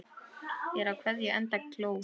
Er á keðju enda kló.